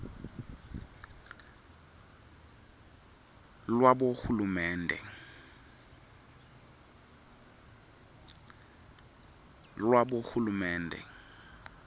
lwabohulumende